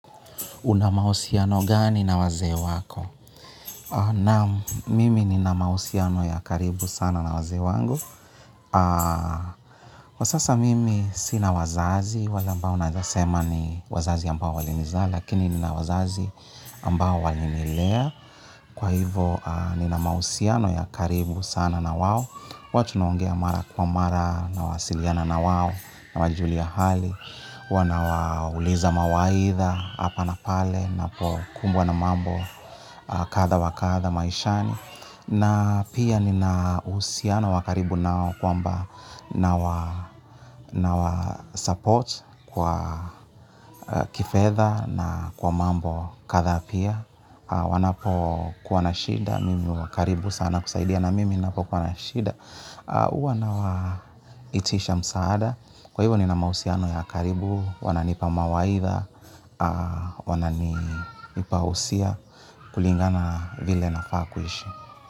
Una mahusiano gani na wazee wako? Naam, mimi nina mahusiano ya karibu sana na wazee wangu. Kwa sasa mimi sina wazazi, wale ambao nawezasema ni wazazi ambao walinizaa, lakini nina wazazi ambao walinilea. Kwa hivo, nina mahusiano ya karibu sana na wao. Huwa tunaongea mara kwa mara, nawasiliana na wao, nawajulia hali. Huwa nawauliza mawaidha hapa na pale napokumbwa na mambo kadha wa kadha maishani. Na pia nina uhusiano wa karibu nao kwamba nawa support kwa kifedha na kwa mambo kadhaa pia wanapokuwa na shida mimi huwa karibu sana kusaidia, na mimi napokuwa na shida, huwa nawaitisha msaada. Kwa hivyo nina mahusiano ya karibu wananipa mawaidha, wananipa usia kulingana na vile nafaa kuishi.